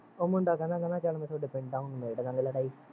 ਉਹ ਮੁੰਡਾ ਕਹਿੰਦਾ ਕਹਿੰਦਾ ਚੱਲ ਮੈਂ ਤੁਹਾਡੇ ਪਿੰਡ ਆਉ ਨਿਬੇੜਲਾਗੇ ਲੜਾਈ